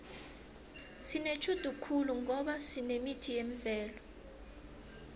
sinetjhudu khulu ngoba sinemithi yemvelo